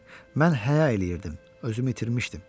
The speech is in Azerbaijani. Mən həya eləyirdim, özümü itirmişdim.